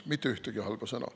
Mitte ühtegi halba sõna.